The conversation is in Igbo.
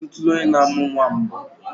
I hụtụla onye na-amụ nnwa mbụ?